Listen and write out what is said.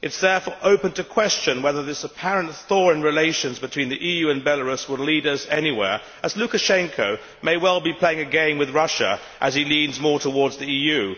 It is therefore open to question whether this apparent thaw in relations between the EU and Belarus will lead us anywhere, as Lukashenko may well be playing a game with Russia as he leans more towards the EU.